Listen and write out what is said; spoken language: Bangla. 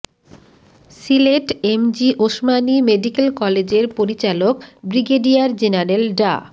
সিলেট এমএজি ওসমানী মেডিকেল কলেজের পরিচালক ব্রিগেডিয়ার জেনারেল ডা